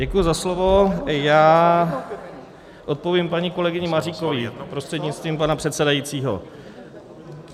Děkuji za slovo, já odpovím paní kolegyni Maříkové prostřednictvím pana předsedajícího.